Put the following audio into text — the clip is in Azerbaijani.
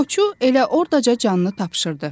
Qoçu elə ordaca canını tapşırdı.